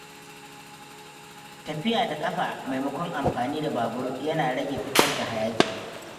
Tafiya da ƙafa maimakon amfani da babur yana rage fitar da hayaki.